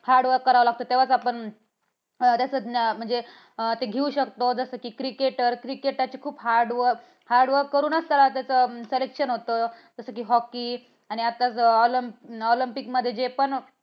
hardwork करावं लागत. तेव्हाच आपण त्याच म्हणजे आपण ते घेऊ शकत. जसं कि cricketer, cricket ची पण खूप hard work करूनच त्यांचं selection होत. जसं कि hockey आणि आता जे olympic olympic मध्ये जे पण